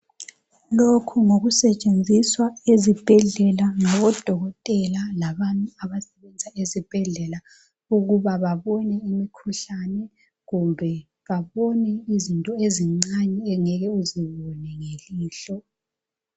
Lokhu ngokusetshenziswa ezibhedlela ngabo Dokotela labantu abasebenza ezibhedlela ukuba babone imikhuhlane kumbe babone izinto ezincane ongeke uzibone ngelihlo.